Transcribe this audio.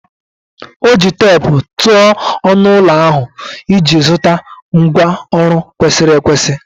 O ji teepu tụọ ọnụ ụlọ ahụ iji zụta ngwá ụlọ kwesịrị ekwesị.